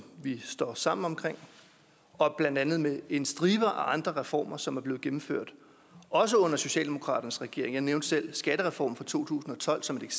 vi står sammen om og blandt andet med en stribe af andre reformer som er blevet gennemført også under socialdemokratiets regering jeg nævnte selv skattereformen fra to tusind og tolv som et